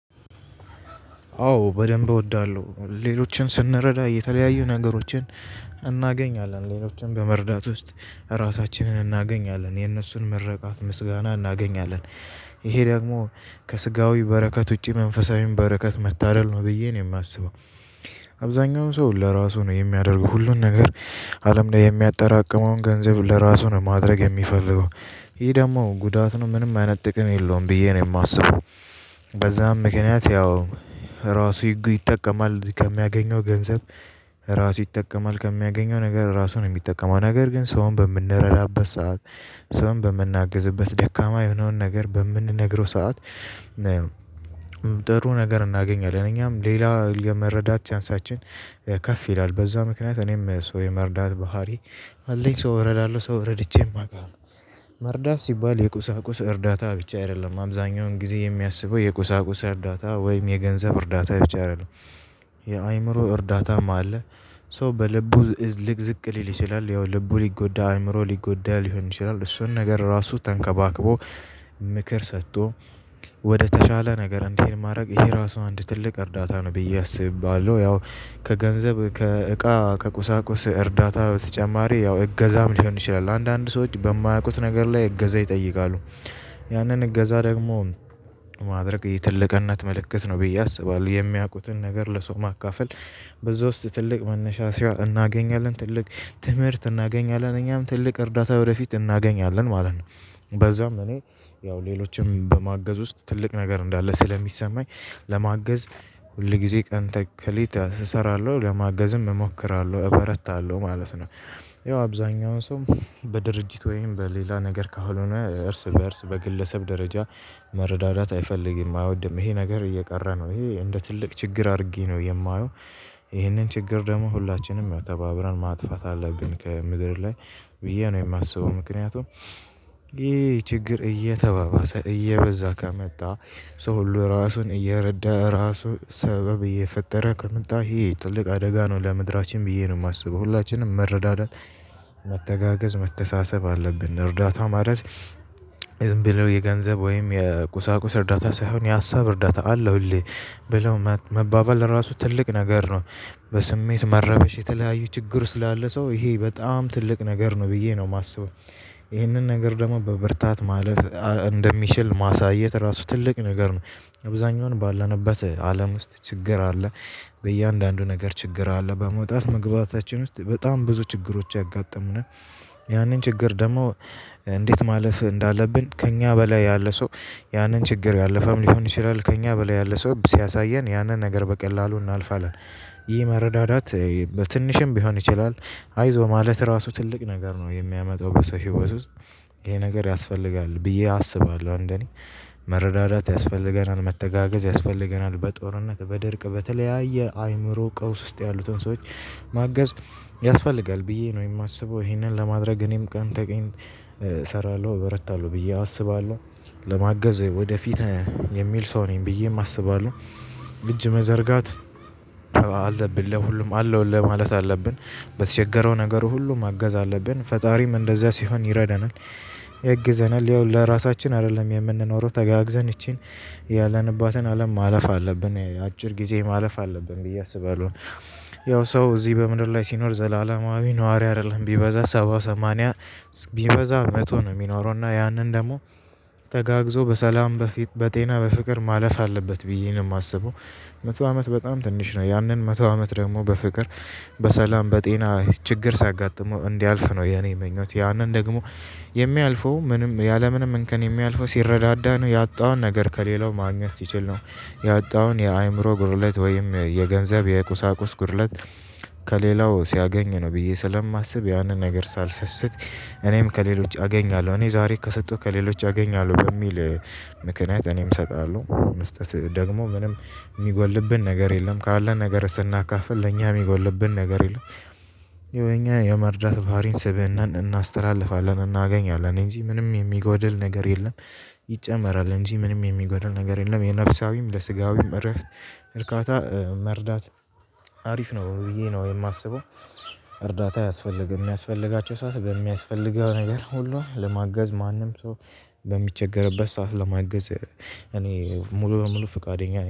አዎ በደንብ እወዳለሁ ሌሎችን ስንረዳ የተለያዩ ነገሮችን እናገኛለን ሌሎችን በመርዳት ውስጥ ራሳችንን እናገኛለን የነሱን ምርቃት ምስጋና እናገኛለን ይሄ ደግሞ ከስጋዊ በረከት ውጪ መንፈሳዊን በረከት መታደል ነው ብዬ ነው የማስበው። አብዛኛው ሰው ለራሱ ነው የሚያደርገው ሁሉን ነገር አለም ላይ የሚያጠራቅመውን ገንዘብ ለራሱ ነው ማድረግ የሚፈልገው። ይህ ደግሞ ጉዳት ነው ምንም አይነት ጥቅም የለውም ብዬ ነው የማስበው። በዛም ምክንያት ያው ራሱ ይጠቀማል ከሚያገኘው ገንዘብ። ራሱ ይጠቀማል ከሚያገኘው ነገር ራሱ ነው የሚጠቀመው ነገር ግን ሰውን በምንረዳበት ሰዓት ሰውን በምናግዝበት ደካማ የሆነውን ነገር በምንነግረው ሰዓት። ጥሩ ነገር እናገኛለን እኛም ሌላ የመረዳት ቻንሳችን ከፍ ይላል። በዛ ምክንያት እኔም ሰው የመርዳት ባህሪ አለኝ ሰው እረዳለሁ ሰው እረድቼም አውቃለሁ። መርዳት ሲባል የቁሳቁስ እርዳታ ብቻ አይደለም አብዛኛውን ጊዜ የሚያስበው የቁሳቁስ እርዳታ ወይም የገንዘብ እርዳታ ብቻ አይደለም። የአእምሮ እርዳታም አለ። ሰው በልቡ ልቅዝቅ ሊል ይችላል ያው ልቡ ሊጎዳ አእምሮ ሊጎዳ ሊሆን ይችላል። እሱን ነገር ራሱ ተንከባክቦ ምክር ሰጥቶ ወደተሻለ ነገር እንዲሄድ ማድረግ ይሄ ራሱ አንድ ትልቅ እርዳታ ነው ብዬ አስባለሁ። ያው ከገንዘብ ከእቃ ከቁሳቁስ እርዳታ በተጨማሪ ያው እገዛም ሊሆን ይችላል አንዳንድ ሰዎች በማያውቁት ነገር ላይ እገዛ ይጠይቃሉ። ያንን እገዛ ደግሞ ማድረግ የትልቅነት ምልክት ነው ብዬ አስባለሁ። የሚያውቁትን ነገር ለሰው ማካፈል በዛ ውስጥ ትልቅ መነሳሻ እናገኛለን ትልቅ ትምህርት እናገኛለን እኛም ትልቅ እርዳታ ወደፊት እናገኛለን ማለት ነው። በዛም እኔ ያው ሌሎችም በማገዝ ውስጥ ትልቅ ነገር እንዳለ ስለሚሰማኝ ለማገዝ ሁልጊዜ ቀን ተከሌት እሰራለሁ ለማገዝም እሞክራለሁ እበረታለሁ ማለት ነው። ያው አብዛኛውን ሰው በድርጅት ወይም በሌላ ነገር ካልሆነ እርስ በእርስ በግለሰብ ደረጃ መረዳዳት አይፈልግም አይወድም ይሄ ነገር እየቀረ ነው ይሄ እንደ ትልቅ ችግር አድርጌ ነው የማየው። ይሄንን ችግር ደግሞ ሁላችንም ተባብረን ማጥፋት አለብን ከምድር ላይ ብዬ ነው የማስበው። ምክንያቱም ይሄ ችግር እየተባባሰ እየበዛ ከመጣ ሰው ሁሉ ራሱን እየረዳ ራሱ ሰበብ እየፈጠረ ከመጣ ይሄ ትልቅ አደጋ ነው ለምድራችን ብዬ ነው የማስበው። ሁላችንም መረዳዳት መተጋገዝ መተሳሰብ አለብን። እርዳታ ማለት ዝም ብለው የገንዘብ ወይም የቁሳቁስ እርዳታ ሳይሆን የሀሳብ እርዳታ አለውልህ ብለው መባባል ራሱ ትልቅ ነገር ነው። በስሜት መረበሽ የተለያዩ ችግር ስላለ ሰው ይሄ በጣም ትልቅ ነገር ነው ብዬ ነው የማስበው። ይሄንን ነገር ደግሞ በብርታት ማለፍ እንደሚችል ማሳየት ራሱ ትልቅ ነገር ነው። አብዛኛውን ባለንበት አለም ውስጥ ችግር አለ። በእያንዳንዱ ነገር ችግር አለ በመውጣት መግባታችን ውስጥ በጣም ብዙ ችግሮች ያጋጥመናል። ያንን ችግር ደግሞ እንዴት ማለፍ እንዳለብን ከእኛ በላይ ያለ ሰው ያንን ችግር ያለፈም ሊሆን ይችላል ከእኛ በላይ ያለ ሰው ሲያሳየን ያንን ነገር በቀላሉ እናልፋለን። ይህ መረዳዳት በትንሽም ቢሆን ይችላል አይዞህ ማለት ራሱ ትልቅ ነገር ነው የሚያመጣው በሰው ህይወት ውስጥ። ይሄ ነገር ያስፈልጋል ብዬ አስባለሁ። እንደኔ መረዳዳት ያስፈልገናል መተጋገዝ ያስፈልገናል በጦርነት በድርቅ በተለያየ አእምሮ ቀውስ ውስጥ ያሉትን ሰዎች ማገዝ ያስፈልጋል ብዬ ነው የማስበው። ይሄንን ለማድረግ እኔም ቀን ተቀን እሰራለሁ እበረታለሁ ብዬ አስባለሁ። ለማገዝ ወደፊት የሚል ሰው ነኝ ብዬም አስባለሁ። እጅ መዘርጋት አለብን ለሁሉም አለውልህ ማለት አለብን። በተቸገረው ነገር ሁሉ ማገዝ አለብን ፈጣሪም እንደዛ ሲሆን ይረዳናል። ያግዘናል ያው ለራሳችን አይደለም የምንኖረው ተጋግዘን ይቺን ያለንባትን አለም ማለፍ አለብን አጭር ጊዜ ማለፍ አለብን ብዬ አስባለሁ። ያው ሰው እዚህ በምድር ላይ ሲኖር ዘላለማዊ ነዋሪ አይደለም ቢበዛ ሰባ ሰማንያ ቢበዛ መቶ ነው የሚኖረው እና ያንን ደግሞ ተጋግዞ በሰላም በፊት በጤና በፍቅር ማለፍ አለበት ብዬ ነው የማስበው። መቶ አመት በጣም ትንሽ ነው ያንን መቶ አመት ደግሞ በፍቅር በሰላም በጤና ችግር ሳያጋጥመው እንዲያልፍ ነው የኔ ምኞት ያንን ደግሞ የሚያልፈው ምንም ያለምንም እንከን የሚያልፈው ሲረዳዳ ነው ያጣውን ነገር ከሌላው ማግኘት ሲችል ነው። ያጣውን የአእምሮ ጉድለት ወይም የገንዘብ የቁሳቁስ ጉድለት። ከሌላው ሲያገኝ ነው ብዬ ስለማስብ ያንን ነገር ሳልሰስት እኔም ከሌሎች አገኛለሁ እኔ ዛሬ ከሰጠው ከሌሎች አገኛለሁ በሚል ምክንያት እኔም እሰጣለሁ መስጠት ደግሞ ምንም የሚጎልብን ነገር የለም ካለን ነገር ስናካፍል ለኛ የሚጎልብን ነገር የለም። የኛ የመርዳት ባህሪን ስብእናን እናስተላልፋለን እናገኛለን እንጂ ምንም የሚጎድል ነገር የለም። ይጨመራል እንጂ ምንም የሚጎድል ነገር የለም የነፍሳዊም ለስጋዊም እረፍት እርካታ መርዳት አሪፍ ነው ብዬ ነው የማስበው። እርዳታ ያስፈልገን የሚያስፈልጋቸው ሰዓት በሚያስፈልገው ነገር ሁሉ ለማገዝ ማንም ሰው በሚቸገርበት ሰዓት ለማገዝ እኔ ሙሉ በሙሉ ፍቃደኛ ነኝ